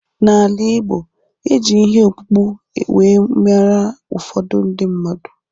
N'ala Ịgbo, e ji ihe ọkpụkpụ wee mara ụfọdụ ndị mmadụ